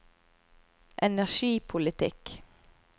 energipolitikk